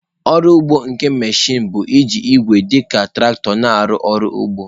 Ọrụ ugbo nke mechịn bụ iji igwe dị ka traktọ na-arụ ọrụ ugbo.